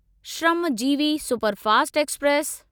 Shramjeevi superfast express